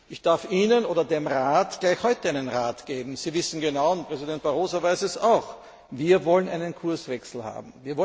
Ich darf Ihnen oder dem Rat gleich heute einen Rat geben Sie wissen genau, und Präsident Barroso weiß es auch, wir wollen einen Kurswechsel haben!